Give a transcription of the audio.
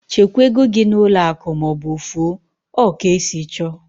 Chekwaa égo gị n'ụlọ akụ maọbụ ofu o! Ọ ka esi chọọ